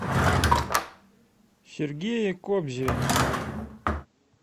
сергее кобзеве